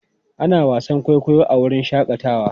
Ana wasan kwaikwayo a wurin shakatawa.